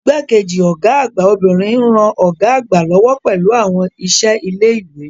Igbá-kejì Ọ̀gá àgbà obìnrin ń ran Ọ̀gá àgbà lọ́wọ́ pẹ̀lú àwọn iṣẹ́ ilé ìwé